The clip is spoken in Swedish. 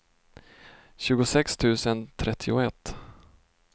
tjugosex tusen trettioett